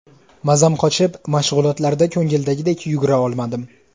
Mazam qochib, mashg‘ulotlarda ko‘ngildagidek yugura olmadim.